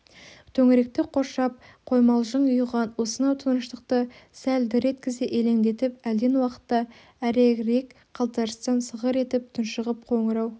төңіректі қоршап қоймалжың ұйыған осынау тыныштықты сәл дір еткізе елеңдетіп әлден уақытта әрегірек қалтарыстан сыңғыр етіп тұншығып қоңырау